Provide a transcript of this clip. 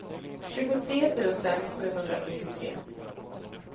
tjugotre tusen sjuhundrasjuttiotre